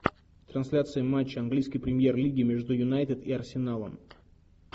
трансляция матча английской премьер лиги между юнайтед и арсеналом